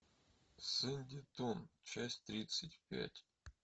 сэндитон часть тридцать пять